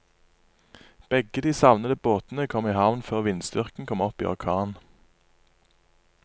Begge de savnede båtene kom i havn før vindstyrken kom opp i orkan.